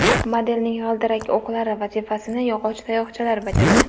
Modelning g‘ildirak o‘qlari vazifasini yog‘och tayoqchalar bajargan.